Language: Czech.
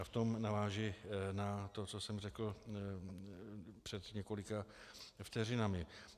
A v tom navážu na to, co jsem řekl před několika vteřinami.